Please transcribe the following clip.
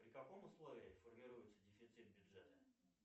при каком условии формируется дефицит бюджета